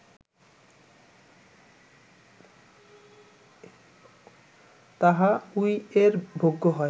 তাহা উইএর ভোগ্য হয়